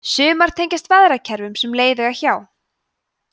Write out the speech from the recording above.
sumar tengjast veðrakerfum sem leið eiga hjá